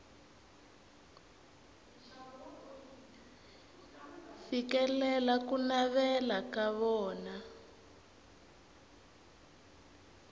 fikelela ku navela ka vona